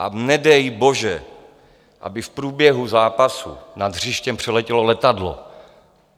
A nedej bože, aby v průběhu zápasu nad hřištěm přeletělo letadlo.